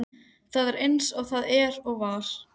Það er eins og það er og var.